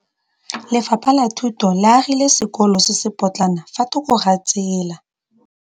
Lefapha la Thuto le agile sekôlô se se pôtlana fa thoko ga tsela.